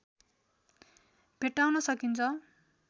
भेट्टाउन सकिन्छ